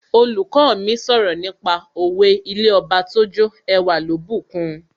Olùkọ́ mi sọ̀rọ̀ nípa òwe 'ilé Ọba tójó ẹwà ló bùkun'